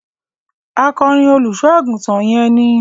Akọrin olùṣọ àgùntàn yẹn ni.